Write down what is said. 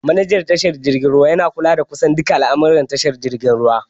Manejan tashar jirgin ruwa yana kula da kusan duka al'almuran tashar jirgin ruwa.